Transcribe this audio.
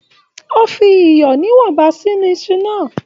O fi iyọ níwọ̀nba sí Isu náà.